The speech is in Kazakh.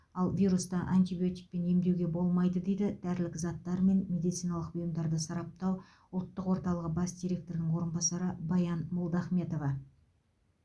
ал вирусты антибиотикпен емдеуге болмайды дейді дәрілік заттар мен медициналық бұйымдарды сараптау ұлттық орталығы бас директорының орынбасары баян молдахметова